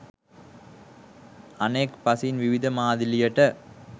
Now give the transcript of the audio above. අනෙක් පසින් විවිධ මාදිලියට